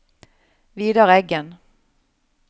Vidar Eggen